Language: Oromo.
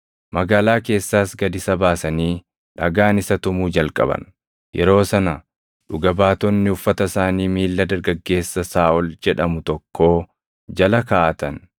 Magaalaa keessaas gad isa baasanii dhagaan isa tumuu jalqaban. Yeroo sana dhuga baatonni uffata isaanii miilla dargaggeessa Saaʼol jedhamu tokkoo jala kaaʼatan.